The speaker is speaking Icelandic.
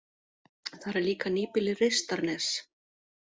Þar er líka nýbýlið Reistarnes.